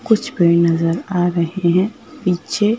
कुछ पेड़ नजर आ रहे हैं पीछे--